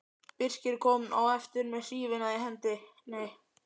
Birkir kom á eftir með hrífuna í hendinni.